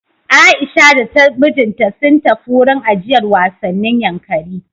Aisha da mijinta sun tafi wurin ajiyar wasannin Yankari.